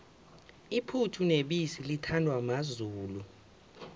iphuthu nebisi lithandwa mazulu